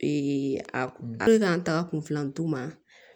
a hali k'an taga kun filanu ma